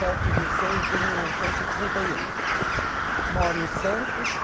sete de seis de mil novecentos e trinta e um. Moro em Santos